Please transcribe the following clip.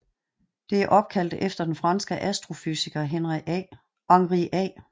Det er opkaldt efter den franske astrofysiker Henri A